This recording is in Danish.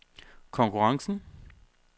konkurrencen